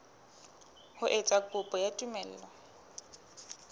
ho etsa kopo ya tumello